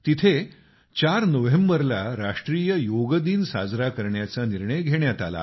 तिथेच चार नोव्हेंबरला राष्ट्रीय योग दिन साजरा करण्याचा निर्णय घेण्यात आला आहे